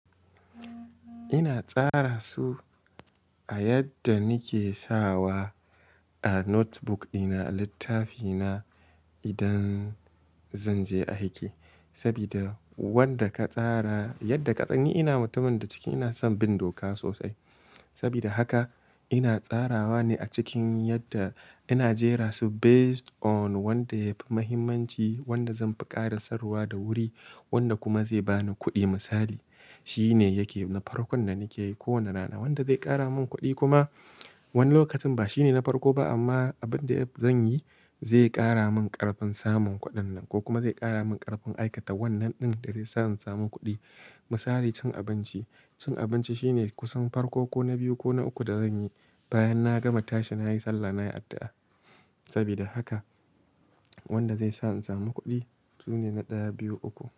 Ina tsara su a yadda nike sawa a notebook dina, a littafina idan zan je aiki. Sabida wanda ka tsara yadda ka tsani, ina mutumin da ciki ina son bin doka sosai. Sabida haka ina tsarawa ne a cikin yadda ina jera su based on wanda yafi muhimmanci, wanda zan fi ƙara saruwa da wuri, wanda kuma zai bani kuɗi misali. Shi ne yake na farkon da nike yi ko wane rana, wanda zai ƙara mun kuɗi kuma wani lokacin ba shi ne na farko ba amma abin da zan yi zai ƙara mun ƙarfin samun kuɗin nan ko kuma zai ƙara mun ƙarfin aikata wannan ɗin da zai sa in samu kuɗi. Misali cin abinci, cin abinci shi ne kusan farko ko na biyu ko na uku da zan yi bayan na gama tashi nayi Sallah nayi addu'a. Sabida haka wanda zai sa in samu kuɗi sune na ɗaya, biyu, uku.